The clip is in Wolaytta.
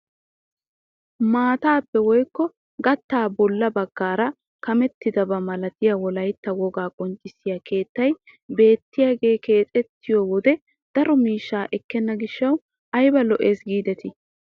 Maataappe woykko gattaappe bolla baggaara kamettidaba milatiyaa wolaytta wogaa qonccisiyaa keettay beettiyaagee keexxiyoo wode daro miishshaa ekkena giishshawu ayba lo"ees gidetii!